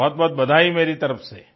तो बहुतबहुत बधाई मेरी तरफ से